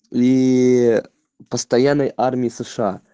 ии постоянный армии сша